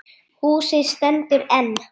Húsið stendur enn.